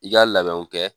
I ka labɛnw kɛ